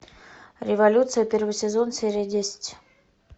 революция первый сезон серия десять